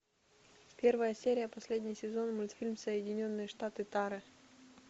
первая серия последний сезон мультфильм соединенные штаты тары